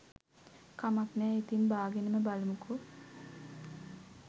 කමක් නෑ ඉතින් බාගෙනම බලමුකෝ